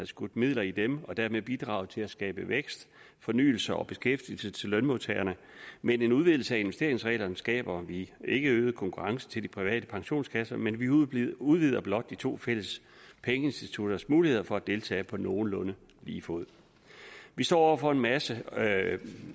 skudt midler i dem og dermed havde bidraget til at skabe vækst fornyelse og beskæftigelse til lønmodtagerne med en udvidelse af investeringsreglerne skaber vi ikke øget konkurrence til de private pensionskasser men vi udvider udvider blot de to fælles pengeinstitutters muligheder for at deltage på nogenlunde lige fod vi står over for massive